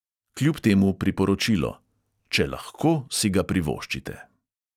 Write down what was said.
Kljub temu priporočilo: če lahko, si ga privoščite.